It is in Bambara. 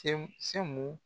tenw semu